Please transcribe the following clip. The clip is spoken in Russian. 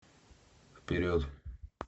вперед